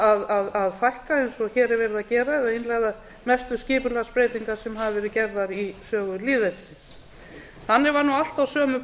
að fækka eins og hér er verið að gera að innleiða mestu skipulagsbreytingar sem hafa verið gerðar í sögu lýðveldisins þannig var nú allt á sömu